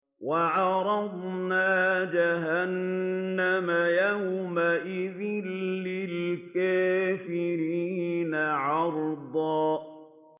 وَعَرَضْنَا جَهَنَّمَ يَوْمَئِذٍ لِّلْكَافِرِينَ عَرْضًا